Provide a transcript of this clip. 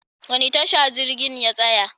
Wani tasha jirgin ya tsaya?